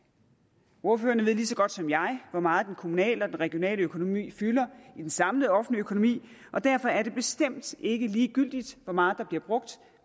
ordførerne ved lige så godt som jeg hvor meget den kommunale og regionale økonomi fylder i den samlede offentlige økonomi og derfor er det bestemt ikke ligegyldigt hvor meget der bliver brugt